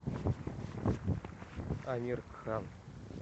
амир кхан